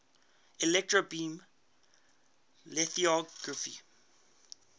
electron beam lithography